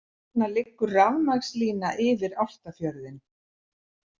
Þarna liggur rafmagnslína yfir Álftafjörðinn.